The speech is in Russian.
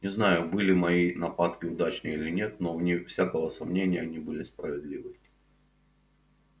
не знаю были мои нападки удачны или нет но вне всякого сомнения они были справедливы